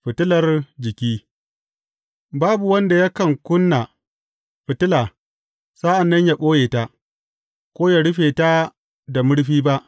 Fitilar jiki Babu wanda yakan ƙuna fitila sa’an nan ya ɓoye ta, ko ya rufe ta da murfi ba.